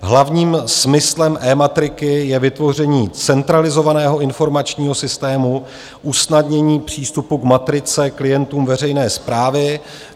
Hlavním smyslem eMatriky je vytvoření centralizovaného informačního systému, usnadnění přístupu k matrice klientům veřejné správy.